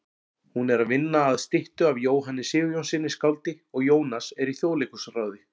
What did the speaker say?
Hún er að vinna að styttu af Jóhanni Sigurjónssyni skáldi og Jónas er í Þjóðleikhúsráði.